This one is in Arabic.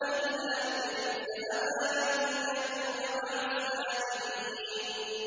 إِلَّا إِبْلِيسَ أَبَىٰ أَن يَكُونَ مَعَ السَّاجِدِينَ